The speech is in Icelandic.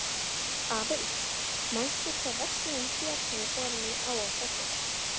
Aðils, manstu hvað verslunin hét sem við fórum í á föstudaginn?